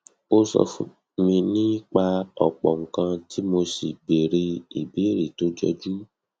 o sọ fún mi nípa ọpọ nǹkan tí mo sì béèrè ìbéèrè tó jọjú